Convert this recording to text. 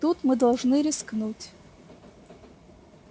тут мы должны рискнуть